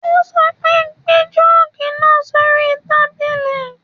Ó sọ pé, gbé jọ́ọ̀gì náà sóri tábìlì.